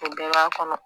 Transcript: O bɛɛ b'a kɔnɔ